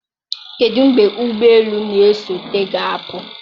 kedụ mgbe ụgbọ elu na-esote ga-apụ?